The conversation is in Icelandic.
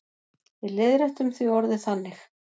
Við leiðréttum því orðið þannig.